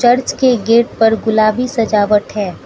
Church के gate पर गुलाबी सजावट है।